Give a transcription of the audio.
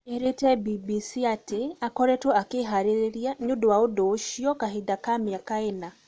Erĩte BBC atĩ akoretwo akĩharĩria nĩundo wa ũndo ũcio kahinda ka miaka ĩna